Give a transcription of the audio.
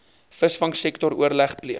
visvangsektor oorleg pleeg